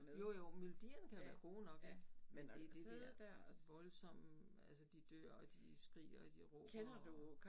Jo jo melodierne kan være gode nok ik men det det der voldsomme altså de dør og de skriger og de råber og